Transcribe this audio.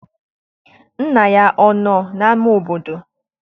Nna ya anọ n'ama obodo?